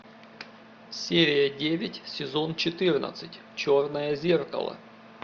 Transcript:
серия девять сезон четырнадцать черное зеркало